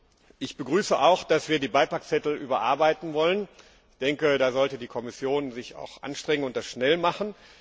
Zum Schluss begrüße ich auch, dass wir die Beipackzettel überarbeiten wollen. Ich denke, da sollte die Kommission sich auch anstrengen und das schnell machen.